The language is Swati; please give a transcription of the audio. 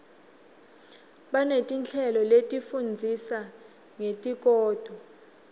baneti nhleloletifundzisa ngesikoto